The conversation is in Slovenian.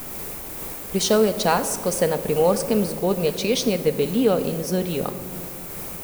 Prišel je čas, ko se na Primorskem zgodnje češnje debelijo in zorijo.